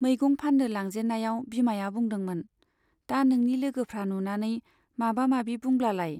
मैगं फान्नो लांजेन्नायाव बिमाया बुंदोंमोन दा नोंनि लोगोफ्रा नुनानै माबा माबि बुंब्लालाय ?